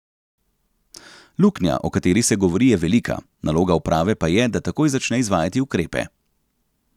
Luknja, o kateri se govori, je velika, naloga uprave pa je, da takoj začne izvajati ukrepe.